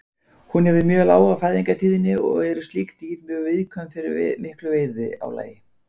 Hún hefur mjög lága fæðingatíðni og eru slík dýr mjög viðkvæm fyrir miklu veiðiálagi.